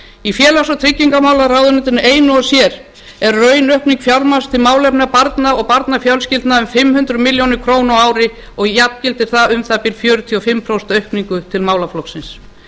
í félags og tryggingamálaráðuneytinu einu og sér er raunaukning fjármagns til málefna barna og barnafjölskyldna um fimm hundruð milljóna króna á ári og jafngildir það um það bil fjörutíu og fimm prósent aukningu til málaflokksins